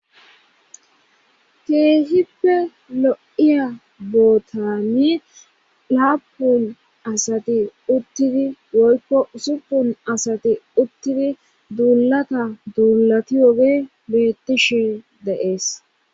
keehippe lo7iya bootami laapun asati uttidi woykko usupun asati uttidi duulata duulati woge beettishe deees